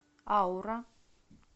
аура